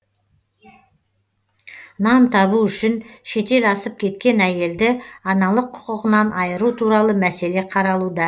нан табу үшін шетел асып кеткен әйелді аналық құқығынан айыру туралы мәселе қаралуда